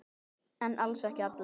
En alls ekki allir.